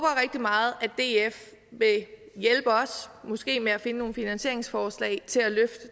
rigtig meget at df måske vil at finde nogle finansieringsforslag til at løfte